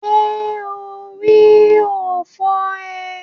Ṣé orí ò fọ́ ee?